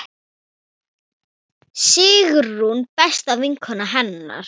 Sigrún besta vinkona hennar.